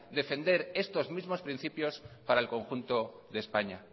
defender estos mismos principios para el conjunto de españa